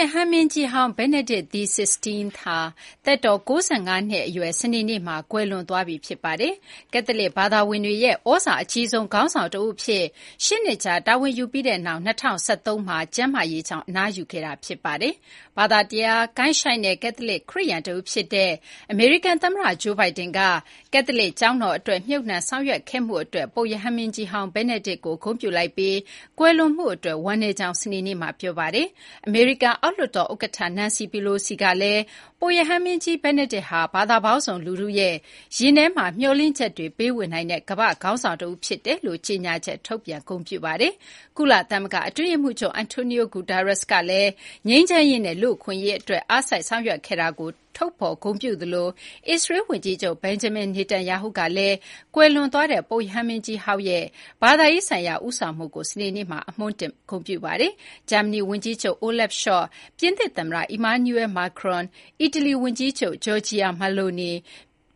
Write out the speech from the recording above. ရဟန်းမင်းကြီးဟောင်း Benedict XVI ဟာ သက်တော် ၉၅ နှစ် အရွယ် စနေနေ့မှာ ကွယ်လွန်သွားပြီ ဖြစ်ပါတယ်။ကက်သလစ် ဘာသာဝင်တွေရဲ့ သြဇာအကြီးဆုံး ခေါင်းဆောင်တဦးအဖြစ် ၈ နှစ်ကြာ တာဝန်ယူပြီးတဲ့နောက် ၂၀၁၃ မှာ ကျန်းမာရေးကြောင့် အနားယူခဲ့တာ ဖြစ်ပါတယ်။ ဘာသာတရား ကိုင်းရှိုင်းတဲ့ ကက်သလစ် ခရစ်ယာန် တဦး ဖြစ်တဲ့ အမေရိကန် သမ္မတ Joe Biden က ကက်သလစ် ကျောင်းတော် အတွက် မြှုပ်နှံ ဆောင်ရွက်ခဲ့မှု အတွက် ပုပ်ရဟန်းမင်းကြီးဟောင်း Benedict XVI ကို ဂုဏ်ပြုလိုက်ပြီး ကွယ်လွန်မှု အတွက် ဝမ်းနည်းကြောင်း စနေနေ့မှာ ပြောပါတယ်။ အမေရိကန် အောက်လွှတ်တော် ဥက္ကဌ Nancy Pelosi ကလည်း ပုပ်ရဟန်းမင်းကြီး Benedict ဟာ ဘာသာပေါင်းစုံ လူထုရဲ့ ရင်ထဲမှာ မျှော်လင့်ချက်တွေ ပေးဝေနိုင်တဲ့ ကမ ္ဘာ့ခေါင်းဆောင် တဦး ဖြစ်တယ်လို့လည်း ကြေညာချက်ထုတ်ပြန် ဂုဏ်ပြုခဲ့ပါတယ်။ ကုလသမဂ္ဂ အတွင်းရေးမှုးချုပ် Antonio Guterres ကလည်း ငြိမ်းချမ်းရေးနဲ့ လူ့အခွင့်ရေးအတွက် အားစိုက်ဆောင်ရွက်ခဲ့တာကို ထုတ်ဖေါ်ဂုဏ်ပြုခဲ့သလို အစ္စရေလ်း ဝန်ကြီးချုပ် Benjamin Netanyahu ကလည်း ကွယ်လွန်သွားတဲ့ ပုပ်ရဟန်းမင်းကြီးဟောင်း Benedict XVI ရဲ့ ဘာသာရေးဆိုင်ရာ ဦးဆောင်မှုကို စနေနေ့မှာ အမွှမ်းတင် ဂုဏ်ပြုခဲ့တာပါ။ ဂျာမဏီဝန်ကြီးချုပ် Olaf Scholz ၊ ပြင်သစ်သမ္မတ Emmanuel Macron ၊ အီတလီဝန်ကြီးချုပ် Giorgia Meloni ၊